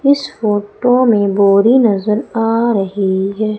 इस फोटो में बोरी नजर आ रही है।